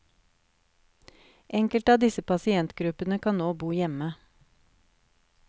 Enkelte av disse pasientgruppene kan nå bo hjemme.